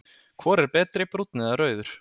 Hvor er betri, brúnn eða rauður?